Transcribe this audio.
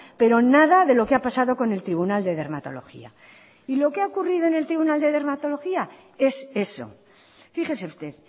pero nada de lo que ha pasado con el tribunal de dermatología y lo que ha ocurrido en el tribunal de dermatología es eso fíjese usted